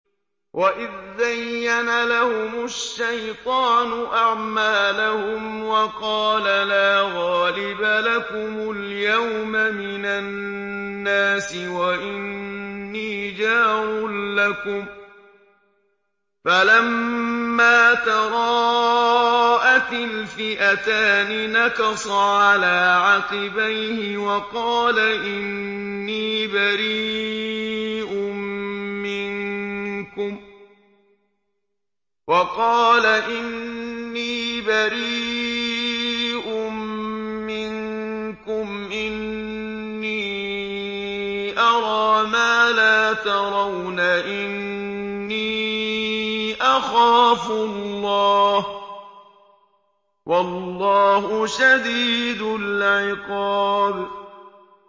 وَإِذْ زَيَّنَ لَهُمُ الشَّيْطَانُ أَعْمَالَهُمْ وَقَالَ لَا غَالِبَ لَكُمُ الْيَوْمَ مِنَ النَّاسِ وَإِنِّي جَارٌ لَّكُمْ ۖ فَلَمَّا تَرَاءَتِ الْفِئَتَانِ نَكَصَ عَلَىٰ عَقِبَيْهِ وَقَالَ إِنِّي بَرِيءٌ مِّنكُمْ إِنِّي أَرَىٰ مَا لَا تَرَوْنَ إِنِّي أَخَافُ اللَّهَ ۚ وَاللَّهُ شَدِيدُ الْعِقَابِ